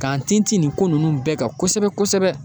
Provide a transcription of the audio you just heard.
K'an tinti nin ko ninnu bɛɛ kan kosɛbɛ kosɛbɛ.